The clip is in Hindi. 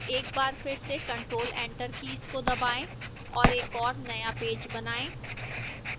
एक बार फिर से ctrl + enter कीज को दबाएं और एक और नया पेज बनाएं